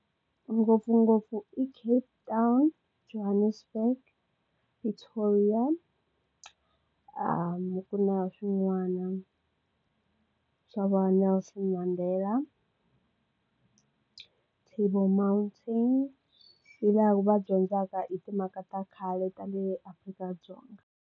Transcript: Ngopfungopfu i Cape Town, Johannesburg ku na swin'wana swa va Nelson Mandela table mountain hilaha va dyondzaka hi timhaka ta khale ta le Afrika-Dzonga.